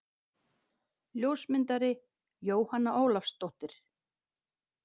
Ljósmyndari: Jóhanna Ólafsdóttir.